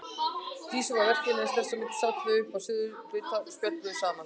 Dísu við verkin en þess á milli sátu þau uppi á suðurlofti og spjölluðu saman.